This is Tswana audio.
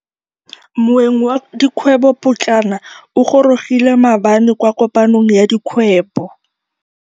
Moêng wa dikgwêbô pôtlana o gorogile maabane kwa kopanong ya dikgwêbô.